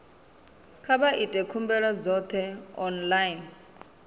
kha vha ite khumbelo dzoṱhe online